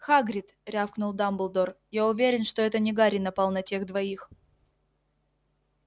хагрид рявкнул дамблдор я уверен что это не гарри напал на тех двоих